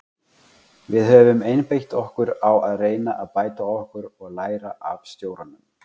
Við höfum einbeitt okkur á að reyna að bæta okkur og læra af stjóranum.